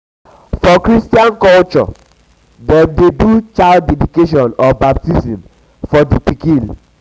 for christian culture dem de do child dedication or baptism or baptism for di pikin